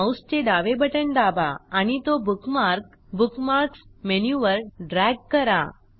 माऊसचे डावे बटण दाबा आणि तो बुकमार्क बुकमार्क्स मेनूवर ड्रॅग करा